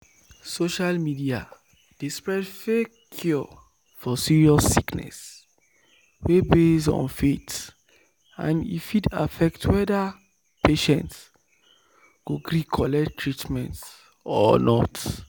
social media dey spread fake cure for serious sickness wey base on faith and e fit affect whether patient go gree collect treatment or not."